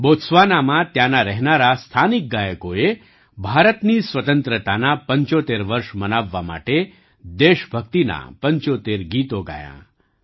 બોત્સ્વાનામાં ત્યાંના રહેનારા સ્થાનિક ગાયકોએ ભારતની સ્વતંત્રતાનાં ૭૫ વર્ષ મનાવવા માટે દેશભક્તિનાં ૭૫ ગીતો ગાયાં